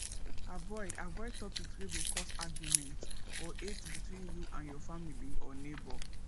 avoid avoid topics wey go cause auguement or hate between you and your family or neigbour